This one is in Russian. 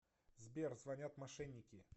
сбер звонят мошенники